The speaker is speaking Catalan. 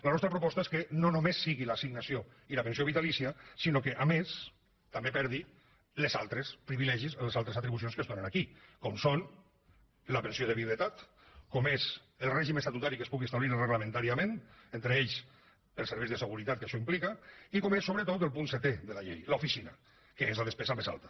la nostra proposta és que no només sigui l’assignació i la pensió vitalícia sinó que a més també perdi els altres privilegis les altres atribucions que es donen aquí com són la pensió de viduïtat com és el règim estatutari que es pugui establir reglamentàriament entre ells els serveis de seguretat que això implica i com és sobretot el punt setè de la llei l’oficina que és la despesa més alta